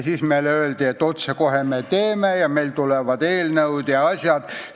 Siis meile öeldi, et otsekohe tehakse korda ja tulevad eelnõud ja asjad.